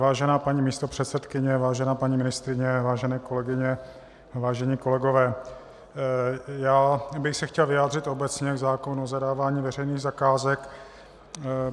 Vážená paní místopředsedkyně, vážená paní ministryně, vážené kolegyně, vážení kolegové, já bych se chtěl vyjádřit obecně k zákonu o zadávání veřejných zakázek.